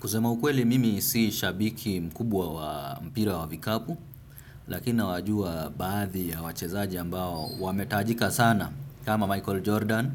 Kusema ukweli mimi si shabiki mkubwa wa mpira wa vikapu lakina nawajua baadhi ya wachezaji ambao wametajika sana kama Michael Jordan